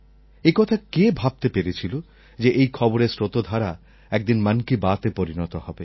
একথা কে ভাবতে পেরেছিল যে এই খবরের স্রোতধারা একদিন মন কি বাতএ পরিণত হবে